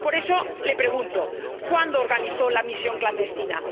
Por eso, le pregunto ¿cuándo organizó la misión clandestina?